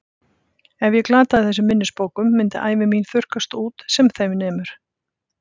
Ef ég glataði þessum minnisbókum myndi ævi mín þurrkast út sem þeim nemur.